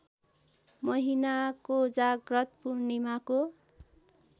महिना कोजाग्रत पूर्णिमाको